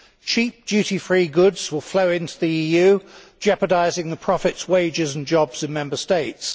Cheap, duty free goods will flow into the EU, jeopardising profits, wages and jobs in Member States.